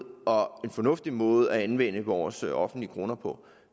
og fornuftig måde at anvende vores offentlige kroner på